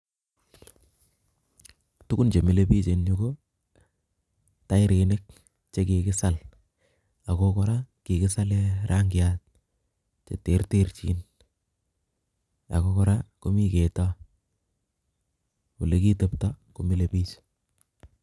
Tugun chemile biich eng yu, ko tairinik che kikisal ako kora kikisale rangiat che terterchin ako kora komi ketoo, ole kitepto komile biich.